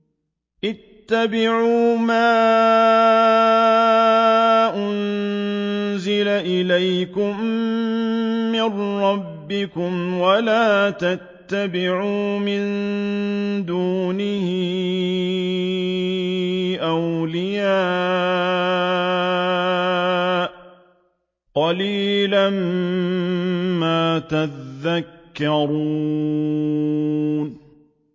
اتَّبِعُوا مَا أُنزِلَ إِلَيْكُم مِّن رَّبِّكُمْ وَلَا تَتَّبِعُوا مِن دُونِهِ أَوْلِيَاءَ ۗ قَلِيلًا مَّا تَذَكَّرُونَ